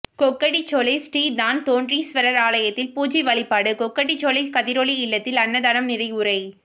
கொக்கட்டிச்சோலை ஶ்ரீ தான்தோன்றீஷ்வர்ர் ஆலயத்தில் பூசை வழிபாடும் கொக்கட்டிச்சோலை கதிரொளி இல்லத்தில் அன்னதானம் நினைவுரை